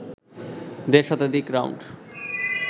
দেড় শতাধিক রাউন্ড